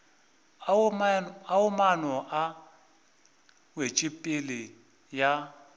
ao maano a wetšopele ya